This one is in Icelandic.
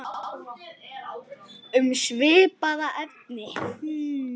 Um svipað efni